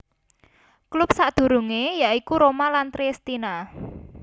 Klub sakdurunge ya iku Roma lan Triestina